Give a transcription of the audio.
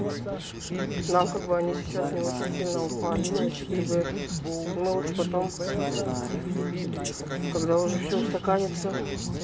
нам как бы они сейчас не очень сильно упали ну эти грибы ну мы лучше потом когда уже все устаканится